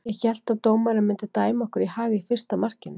Ég hélt að dómarinn myndi dæma okkur í hag í fyrsta markinu.